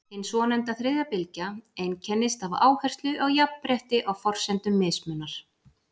hin svonefnda „þriðja bylgja“ einkennist af áherslu á jafnrétti á forsendum mismunar